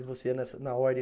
E você é nessa, na ordem